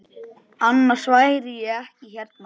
Annars væri ég ekki hérna.